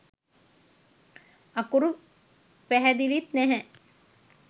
අකුරු පැහැදිලිත් නැහැ